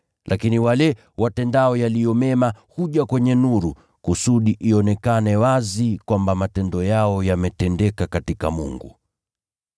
Lakini yule aishiye kwa ukweli huja kwenye nuru, ili ionekane wazi kwamba matendo yake yametendeka katika Mungu.”